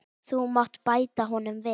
Þú mátt bæta honum við.